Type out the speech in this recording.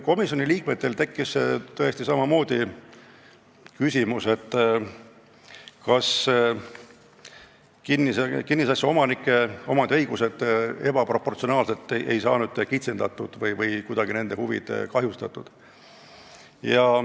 Komisjoni liikmetel tekkis tõesti samamoodi küsimus, kas kinnisasja omanike õigusi ei ole ebaproportsionaalselt kitsendatud või ei ole nende huvid saanud kuidagi kahjustatud.